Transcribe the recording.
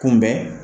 Kunbɛn